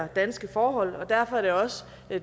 danske forhold og derfor er det også